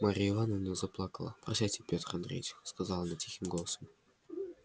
марья ивановна заплакала прощайте пётр андреич сказала она тихим голосом